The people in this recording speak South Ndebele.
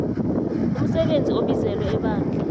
umsebenzi obizelwe ebandla